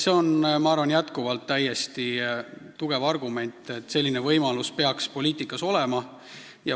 See on, ma arvan, endiselt täiesti tugev argument, et selline võimalus peaks poliitikas olema.